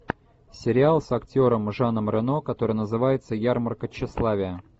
сериал с актером жаном рено который называется ярмарка тщеславия